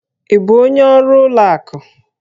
Ị bụ onye ọrụ ụlọ akụ?